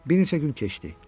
Bir neçə gün keçdi.